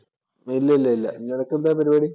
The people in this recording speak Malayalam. ഇല്ല ഇല്ലില്ല. നിനക്ക് എന്താ പരിപാടി?